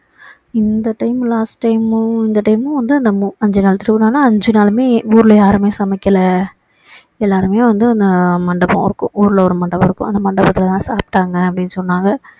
இந்த time last மும் இந்த time மும் வந்து நம்ம அஞ்சு நாள் திருவிழான்னா அஞ்சு நாளுமே ஊருல யாருமே சமைக்கல எல்லாருமே வந்து அங்க மண்டபம் இருக்கும் ஊருல ஒரு மண்டபம் இருக்கும் அந்த மண்டபத்துல தான் சாப்ப்பிட்டாங்க அப்படின்னு சொன்னாங்க